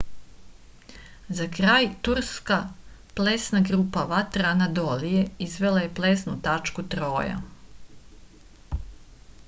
za kraj turska plesna grupa vatra anadolije izvela je plesnu tačku troja